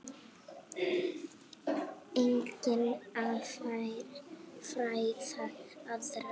Einnig að fræða aðra.